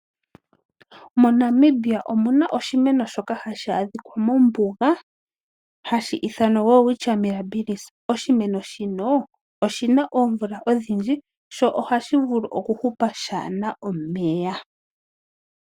MoNamibia omu na oshimeno shoka hashi adhika mombuga hashi ithanwa welwitchia mirabillis. Oshimeno shino oshi na oomvula odhindji sho ohashi vulu okuhupa shaa na omeya.